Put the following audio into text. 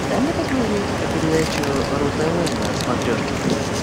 дай мне посмотреть передачу ру тв на смотрешке